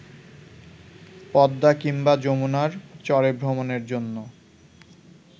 পদ্মা কিংবা যমুনার চরেভ্রমণের জন্য